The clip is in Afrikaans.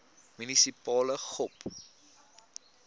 munisipale gop